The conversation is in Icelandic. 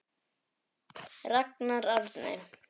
Ragnar Árni.